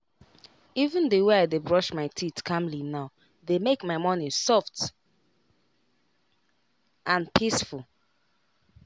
even the way i dey brush my teeth calmly now dey make my morning soft and peaceful.